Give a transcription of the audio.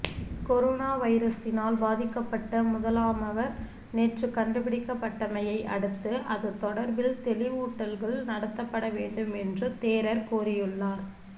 corona வைரஸினால் பாதிக்கப்பட்ட முதலாமவர் நேற்று கண்டுபிடிக்கப்பட்டமையை அடுத்து இது தொடர்பில் தெளிவூட்டல்கள் நடத்தப்படவேண்டும் என்று தேரர் கோரியுள்ளார்